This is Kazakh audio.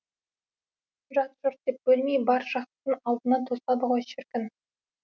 жат жұрт деп бөлмей бар жақсысын алдына тосады ғой шіркін